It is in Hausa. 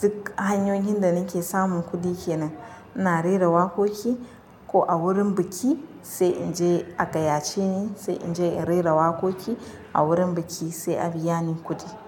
Duk hanyoyin da nake samun kuɗi kenan ina rera waƙoƙi ko a wurin biki sai in je a gaya ce ni sai in je in rera waƙoƙi a wurin biki sai a biya ni kuɗi.